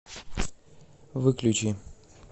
выключи